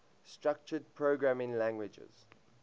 structured programming languages